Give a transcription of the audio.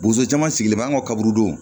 Bozo caman sigilen bɛ an ka kaburu don